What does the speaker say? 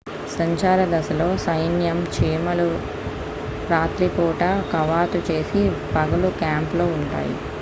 సంచార దశలో సైన్యం చీమలు రాత్రి పూట కవాతు చేసి పగలు క్యాంపులో ఉంటాయి